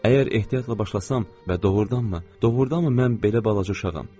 Əgər ehtiyatla başlasam və doğurdanmı, doğurdanmı mən belə balaca uşağam?